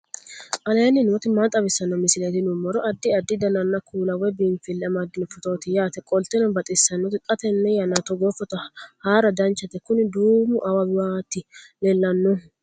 aleenni nooti maa xawisanno misileeti yinummoro addi addi dananna kuula woy biinfille amaddino footooti yaate qoltenno baxissannote xa tenne yannanni togoo footo haara danchate kuni duumo awawaati leellannohu